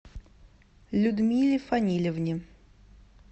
людмиле фанилевне